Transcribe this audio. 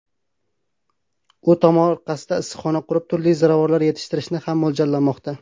U tomorqasida issiqxona qurib, turli ziravorlar yetishtirishni ham mo‘ljallamoqda.